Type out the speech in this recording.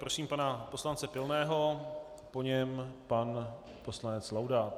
Prosím pana poslance Pilného, po něm pan poslanec Laudát.